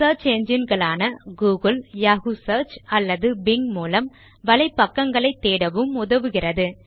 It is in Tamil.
சியர்ச் என்ஜின் களான googleயாஹூ சியர்ச் அல்லது பிங் மூலம் வலை பக்கங்களைத் தேடவும் உதவுகிறது